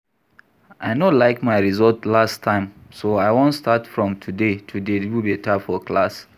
I no like my result last term so I wan start from today to dey do beta for class